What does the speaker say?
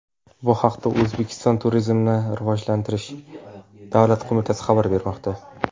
Bu haqda O‘zbekiston Turizmni rivojlantirish davlat qo‘mitasi xabar bermoqda .